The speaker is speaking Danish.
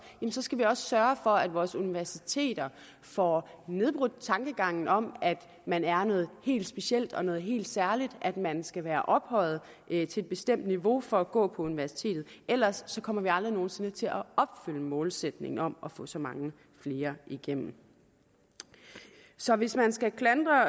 skal vi også sørge for at vores universiteter får nedbrudt tankegangen om at man er noget helt specielt og noget helt særligt at man skal være ophøjet et bestemt niveau for at gå på universitetet ellers kommer vi aldrig nogen sinde til at opfylde målsætningen om at få så mange flere igennem så hvis man skal klandre